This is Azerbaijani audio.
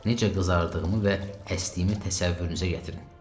Necə qızardığımı və əstiyimi təsəvvürünüzə gətirin.